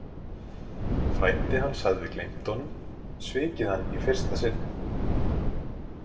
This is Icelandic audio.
Frændi hans hafði gleymt honum, svikið hann í fyrsta sinn.